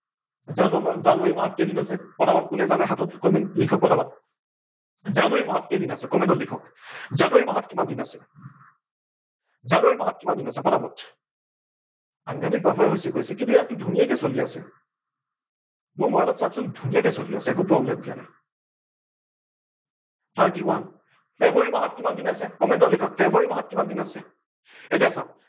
সাংঘাটিক buffer হৈছে কৈছে কিন্তু ইয়াতটো ধূনীয়াকে চলি আছে, মোৰ মবাইলত চাৱক চোন ধূনীয়াকে চলি আছে একো problem দিয়া নাই thirty one ফেব্ৰুৱাৰী মাহত কিমান দিন আছে comment ত লিখক ফেব্ৰুৱাৰী মাহত কিমান দিন আছে। এতিয়া চাৱক